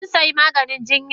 Kun say maganin jiya?